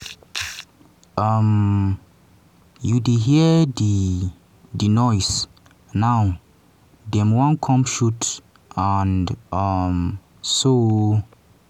um you dey hear di di noise now dem wan come shoot and um soo"